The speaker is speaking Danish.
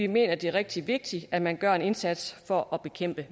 mener at det er rigtig vigtigt at man gør en indsats for at bekæmpe